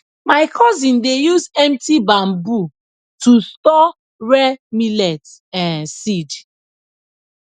my cousin dey use empty bamboo to store rare millet um seed